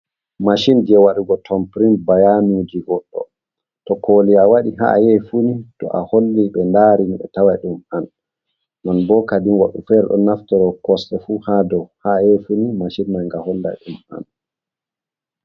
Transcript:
Mashin je waɗugo tom print bayanuji goɗdo, to koli a waɗi ha a yehi funi to a holli be ndari ni ɓe tawai ɗum an non boka din woɓɓe fere ɗon naftaro kosɗe fu ha dou, ha a yehi funi mashin man ga holla ɗum an.